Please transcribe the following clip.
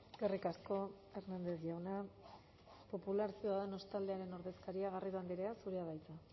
eskerrik asko hernández jauna popular ciudadanos taldearen ordezkaria garrido andrea zurea da hitza